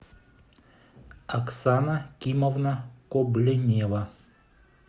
оксана кимовна кобленева